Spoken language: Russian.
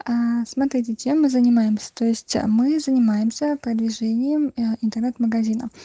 аа смотрите чем мы занимаемся то есть мы занимаемся продвижением интернет-магазина